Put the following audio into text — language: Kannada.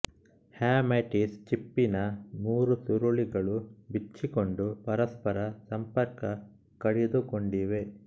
ಹ್ಯಾಮೈಟಿಸ್ ಚಿಪ್ಪಿನ ಮೂರು ಸುರುಳಿಗಳು ಬಿಚ್ಚಿಕೊಂಡು ಪರಸ್ಪರ ಸಂಪರ್ಕ ಕಡಿದುಕೊಂಡಿವೆ